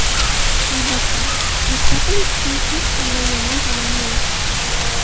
Albatta, mustaqil o‘qishning hech qanday yomon tomoni yo‘q.